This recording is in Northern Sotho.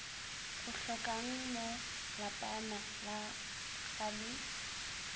o hlokangmo lapana ga le